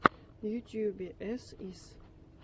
в ютубе эс ис